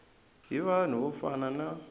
hi vanhu vo fana na